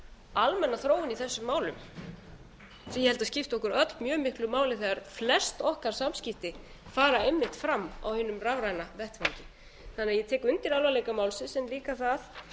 almenna þróun í þessum málum sem ég held að skipti okkur öll mjög miklu máli þegar flest okkar samskipti fara einmitt fram á hinum rafræna vettvangi ég tek undir alvarleika málsins en líka það